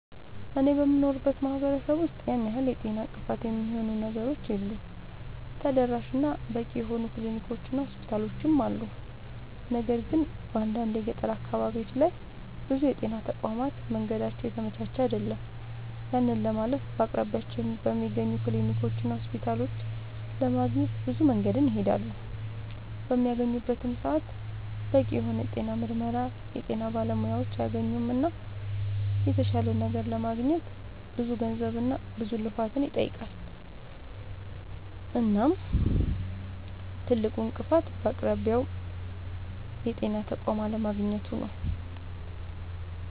አኔ በምኖርበት ማህበረሰብ ውስጥ ያን ያህል የጤና እንቅፋት የሚሆኑ ነገሮች የሉም ተደራሽ እና በቂ የሆኑ ክሊኒኮች እና ሆስፒታሎችም አሉ። ነገር ግን በአንዳንድ የገጠር አካባቢዎች ላይ ብዙ የጤና ተቋማት መንገዳቸው የተመቻቸ አይደለም። ያንን ለማለፍ በአቅራቢያቸው በሚገኙ ክሊኒኮችና ሆስፒታሎች ለማግኘት ብዙ መንገድን ይሄዳሉ። በሚያገኙበትም ሰዓት በቂ የሆነ የጤና ምርመራና የጤና ባለሙያዎችን አያገኙምና የተሻለ ነገር ለማግኘት ብዙ ገንዘብና ብዙ ልፋትን ይጠይቃል። እናም ትልቁ እንቅፋት በአቅራቢያው የጤና ተቋም አለማግኘቱ ነዉ